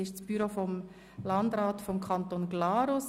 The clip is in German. Es handelt sich um das Büro des Landrats des Kantons Glarus.